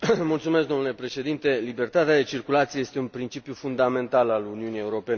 Domnule președinte, libertatea de circulație este un principiu fundamental al Uniunii Europene.